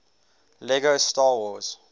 lego star wars